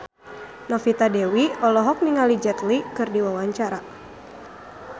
Novita Dewi olohok ningali Jet Li keur diwawancara